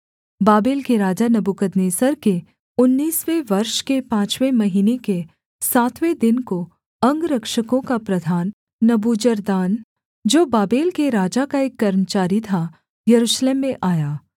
Babel के राजा नबूकदनेस्सर के उन्नीसवें वर्ष के पाँचवें महीने के सातवें दिन को अंगरक्षकों का प्रधान नबूजरदान जो बाबेल के राजा का एक कर्मचारी था यरूशलेम में आया